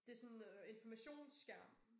Det sådan øh informationsskærm